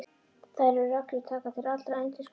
Þær reglur taka til allra endurskoðenda.